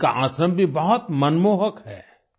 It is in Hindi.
इनका आश्रम भी बहुत मनमोहक है